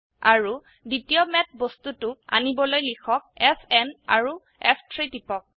আৰু দ্বিতীয় ম্যাথ বস্তুটোক আনিবলৈ লিখক f n আৰু ফ3 টিপক